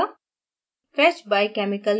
एक submenu खुलेगा